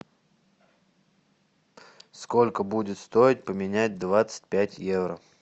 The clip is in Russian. сколько будет стоить поменять двадцать пять евро